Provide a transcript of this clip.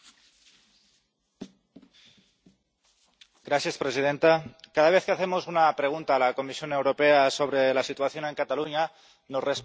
Señora presidenta, cada vez que hacemos una pregunta a la Comisión Europea sobre la situación en Cataluña nos responden que confían mucho en Rajoy.